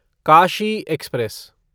Kashi express